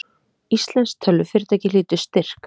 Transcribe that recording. Íslenskt tölvufyrirtæki hlýtur styrk